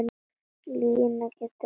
Lína getur átt við